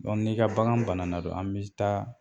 n'i ka bagan bana na an bi taa